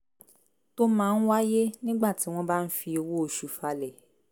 tó máa ń wáyé nígbà tí wọ́n bá ń fi owó oṣù falẹ̀